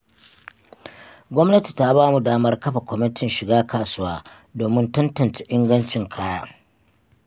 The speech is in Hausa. Gwamnati ta bamu damar kafa kwamatin shiga kasuwa domin tantance ingancin kaya.